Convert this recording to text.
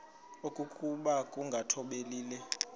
okokuba ukungathobeli le